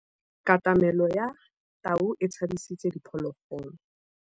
Katamêlô ya tau e tshabisitse diphôlôgôlô.